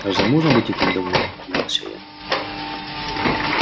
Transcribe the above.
разве можно быть этим довольным удивился я